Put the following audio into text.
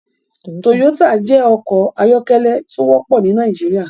Toyota jẹ́ ọkọ̀ ayọ́kẹ́lẹ́ tó wọ́pọ̀ ní Nàìjíríà.